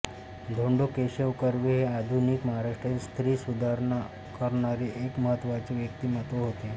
धोंडो केशव कर्वे हे आधुनिक महाराष्ट्रातील स्त्री सुधारणा करणारे एक महत्त्वाचे व्यक्तिमत्त्व होते